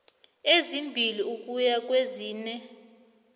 ezimbili ukuya kwezine